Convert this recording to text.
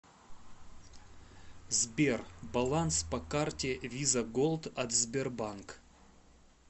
сбер баланс по карте виза голд от сбербанк